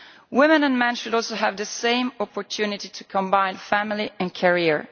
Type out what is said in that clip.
Women and men should also have the same opportunity to combine family and career.